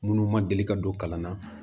Munnu ma deli ka don kalan na